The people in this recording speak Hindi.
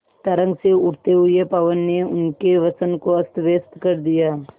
तरंग से उठते हुए पवन ने उनके वसन को अस्तव्यस्त कर दिया